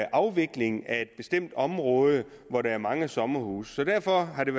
afvikling af bestemte områder hvor der er mange sommerhuse derfor er det